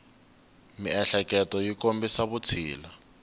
miehleketo yi kombisa vutshila